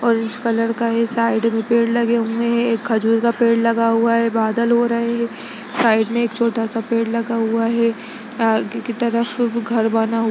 Orange colour का है side में पेड़ लगे हुए है खजूर का पेड़ लगा हुआ है बादल हो रहे है साइड में छोटा सा पेड़ लगा हुआ है आगे की तरफ घर बना हुआ है।